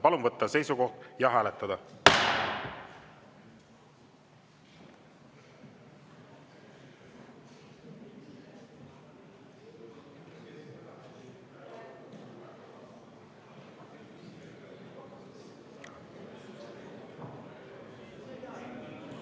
Palun võtta seisukoht ja hääletada!